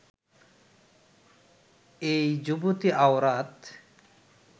এই যুবতী আওরাত